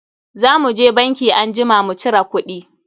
Za mu je banki anjima mu cira kuɗi.